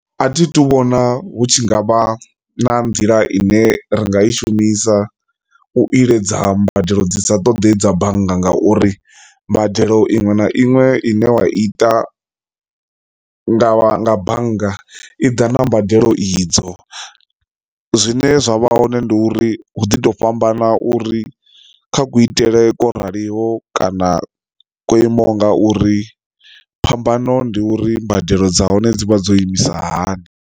A thi to vhona hu tshi ngavha na nḓila ine ri nga i shumisa u iledza mbadelo dzi sa ṱoḓei dza bannga ngauri mbadelo iṅwe na iṅwe ine wa ita nga nga bannga i ḓa na mbadelo idzo. Zwine zwa vha hoṋe ndi uri hu ḓi to fhambana uri kha kuitele kwa raliho kana kwo imaho nga uri phambano ndi uri mbadelo dza hone dzi vha dzo imisa hani.